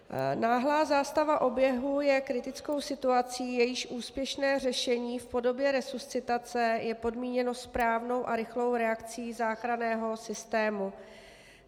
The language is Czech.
Náhlá zástava oběhu je kritickou situací, jejíž úspěšné řešení v podobě resuscitace je podmíněno správnou a rychlou reakcí záchranného systému.